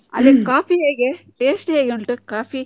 ಅಲ್ಲಿನ್ coffee ಹೇಗೆ taste ಹೇಗೆ ಉಂಟು coffee ?